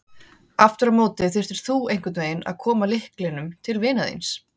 Aftur á móti þyrftir þú einhvern veginn að koma lyklinum til vinar þíns.